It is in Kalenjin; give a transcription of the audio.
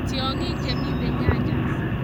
Tyong'iik chemitei nyanjas